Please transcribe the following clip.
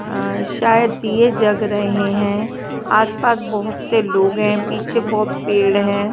अं शायद ये जग रहे है आस पास बहुत से लोग है पीछे बहुत पेड़ है।